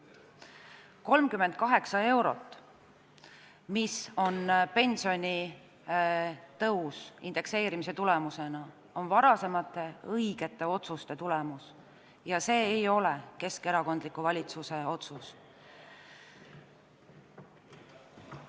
38 eurot, mis on pensionitõus indekseerimise tulemusena, on varasemate õigete otsuste tulemus ja need ei ole keskerakondliku valitsuse otsused.